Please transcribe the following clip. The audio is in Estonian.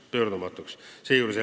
Pöördumatuks!